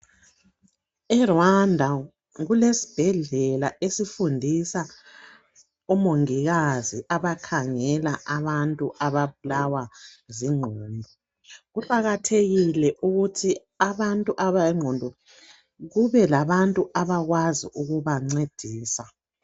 E Rwanda kulesibhedlela esifundisa omongikazi abakhangela abantu ababulawa zinqondo. Kuqakathekile ukuthi lababantu ababulawa zinqondo bethole abantu abangabancedisa.